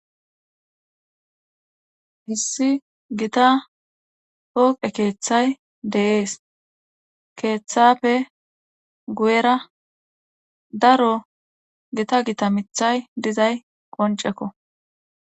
Issi gita pooqe keethay de7ees keethaafe huyera daro gita gita mithay dizay qoncceko.